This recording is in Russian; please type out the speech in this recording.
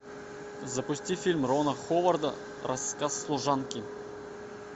запусти фильм рона ховарда рассказ служанки